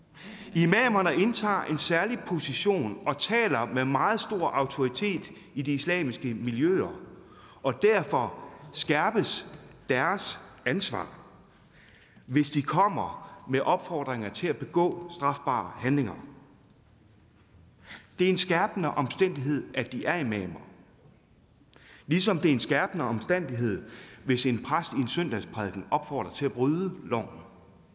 imamerne indtager en særlig position og taler med meget stor autoritet i de islamiske miljøer og derfor skærpes deres ansvar hvis de kommer med opfordringer til at begå strafbare handlinger det er en skærpende omstændighed at de er imamer ligesom det er en skærpende omstændighed hvis en præst i en søndagsprædiken opfordrer til at bryde loven